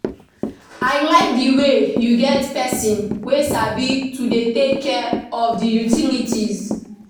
I like the way you get person wey sabi to dey take care of the utilities